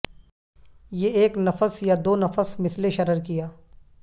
یہ ایک نفس یا دو نفس مثل شرر کیا